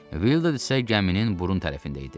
Vildad isə gəminin burun tərəfində idi.